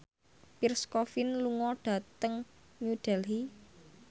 Pierre Coffin lunga dhateng New Delhi